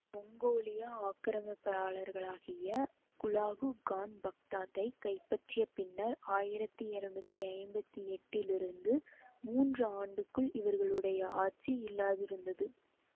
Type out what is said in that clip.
மொங்கோலிய ஆக்கிரமிப்பாளராகிய Hulagu Khan பக்தாத்தைக் கைப்பற்றிய பின்னர் ஆயிரத்தி இருநூத்தி ஐம்பத்தி எட்டிலிருந்து மூன்றாண்டுகள் இவர்களுடைய ஆட்சி இல்லாதிருந்தது